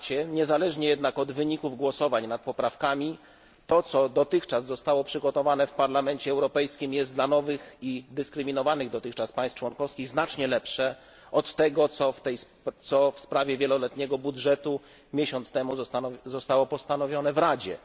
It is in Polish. Niezależnie jednak od wyników głosowań nad poprawkami to, co dotychczas zostało przygotowane w Parlamencie Europejskim, jest dla nowych i dyskryminowanych dotychczas państw członkowskich znacznie lepsze od tego, co w sprawie wieloletniego budżetu miesiąc temu zostało postanowione w Radzie.